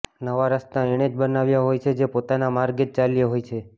નવા રસ્તા એણે જ બનાવ્યા હોય છે જે પોતાના માર્ગે જ ચાલ્યો હોય છે